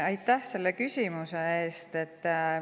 Aitäh selle küsimuse eest!